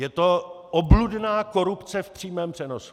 Je to obludná korupce v přímém přenosu.